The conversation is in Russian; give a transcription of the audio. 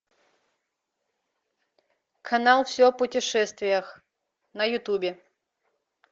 канал все о путешествиях на ютубе